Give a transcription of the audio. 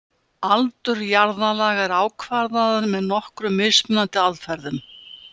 Aldur jarðlaga er ákvarðaður með nokkrum mismunandi aðferðum.